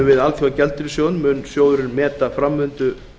við alþjóðagjaldeyrissjóðinn mun sjóðurinn meta framvindu